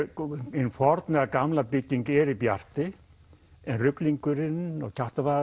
hin forna bygging er í Bjarti en ruglingurinn og